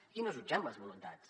aquí no jutgem les voluntats